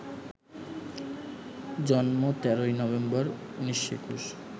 জন্ম ১৩ নভেম্বর, ১৯২১